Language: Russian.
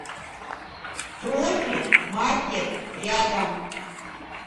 профи маркет рядом